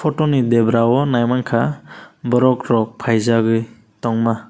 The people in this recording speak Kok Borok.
photo ni debrao naimangka borok rok paijagoi tongma.